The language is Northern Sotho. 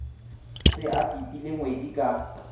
be a pipile ngwedi ka